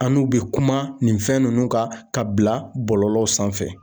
An n'u bɛ kuma nin fɛn ninnu kan ka bila bɔlɔlɔw sanfɛ